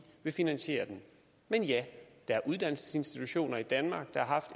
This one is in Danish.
vil finansiere den men ja der er uddannelsesinstitutioner i danmark der har